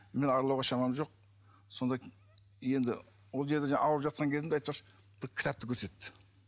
мен аралауға шамам жоқ сонда енді ол жерде ауырып жатқан кезімде айтпақшы бір кітапті көрсетті